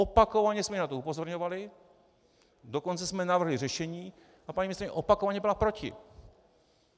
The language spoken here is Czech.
Opakovaně jsme na to upozorňovali, dokonce jsme navrhli řešení a paní ministryně opakovaně byla proti.